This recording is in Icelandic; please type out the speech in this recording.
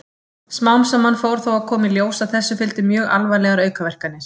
Smám saman fór þó að koma í ljós að þessu fylgdu mjög alvarlegar aukaverkanir.